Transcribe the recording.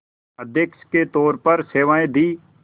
अध्यक्ष के तौर पर सेवाएं दीं